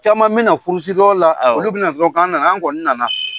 Caman mena furusiri yɔrɔ la, awɔ, olu bɛna fɔ k'an nana, an kɔnni nana.